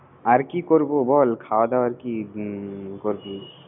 আর কি করব বল। খাওয়া দাওয়া আরকি করছি